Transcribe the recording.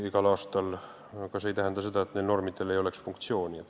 Aga see ei tähenda, nagu neil normidel ei oleks funktsiooni.